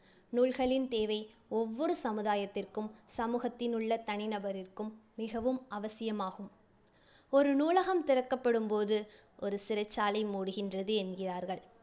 நூல்களின் தேவை ஒவ்வொரு சமுதாயத்திற்கும், சமூகத்தில் உள்ள தனி நபரிற்கும் மிகவும் அவசியமாகும். ஒரு நூலகம் திறக்கப்படும் போது ஒரு சிறைச்சாலை மூடுகின்றது என்கின்றார்கள்